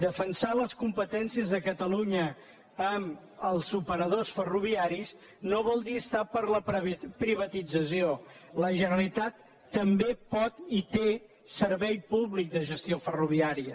defensar les competències de catalunya amb els operadors ferroviaris no vol dir estar per la privatització la generalitat també pot i té servei públic de gestió ferroviària